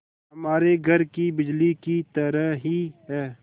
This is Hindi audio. हमारे घर की बिजली की तरह ही है